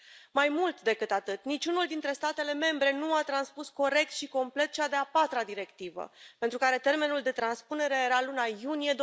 Mai mult decât atât, niciunul dintre statele membre nu a transpus corect și complet cea de a patra Directivă, pentru care termenul de transpunere era luna iunie